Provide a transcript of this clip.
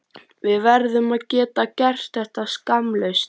Við verðum að geta gert þetta skammlaust.